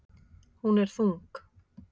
Hún er þung.